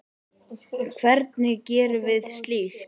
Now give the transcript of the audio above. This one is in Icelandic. Hvernig gerum við slíkt?